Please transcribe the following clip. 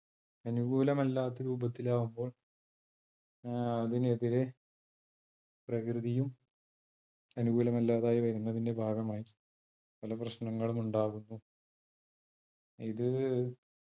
അനുകൂലമല്ലാത്ത രൂപത്തിൽ ആകുമ്പോൾ അഹ് അതിനെതിരെ പ്രകൃതിയും അനുകൂലമല്ലാതായി വരുന്നതിന്റെ ഭാഗമായി പല പ്രശ്നങ്ങളുമുണ്ടാകുന്നു ഇത്